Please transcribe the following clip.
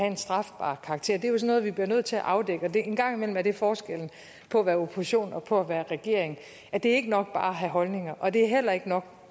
af en strafbar karakter det noget vi bliver nødt til at afdække en gang imellem er det forskellen på at være i opposition og på at være i regering det er ikke nok bare at have holdninger og det er heller ikke nok